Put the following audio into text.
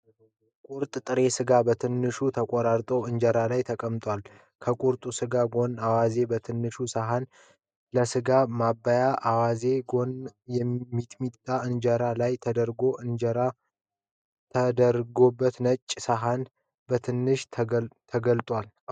ቁርጥ ጥሬ ስጋ በትናንሹ ተቆራርጦ እንጀራ ላይ ተቀምጧል። ከቁርጥ ስጋዉ ጎን አዋዝ በትንሽየ ሰሀን ለስጋዉ ማባያ፤ ከአዋዜዉ ጎን ሚጥሚጣ እንጀራዉ ላይ ተደርጓል። እንጀራዉ የተደረገበት ነጭ ሰሀን በትንሹ ተገልጧል።